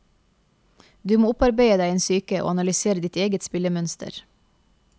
Du må opparbeide deg en psyke og analysere ditt eget spillemønster.